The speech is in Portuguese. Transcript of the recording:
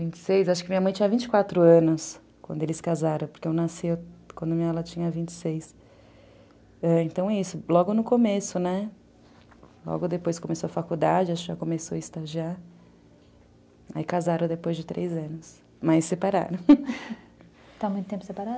Vinte e seis, acho que minha mãe tinha vinte e quatro anos quando eles casaram Porque eu nasci quando ela tinha vinte e seis. Então é isso, logo no começo, né, logo depois começou a faculdade, começou a estagiar. Aí casaram depois de três anos, mas separaram. Estão há muito tempo separados?